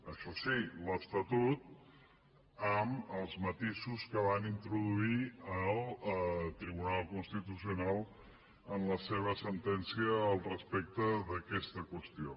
això sí l’estatut amb els matisos que hi va introduir el tribu·nal constitucional en la seva sentència respecte d’a·questa qüestió